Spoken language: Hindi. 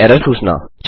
एक एरर सूचना